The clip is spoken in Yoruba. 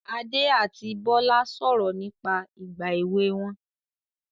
Adé àti Bọ́lá sọ̀rọ̀ nípa ìgbà èwe wọn